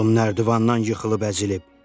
Oğlum nərdivandan yıxılıb əzilib.